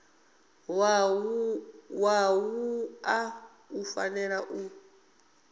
wa wua u fanela u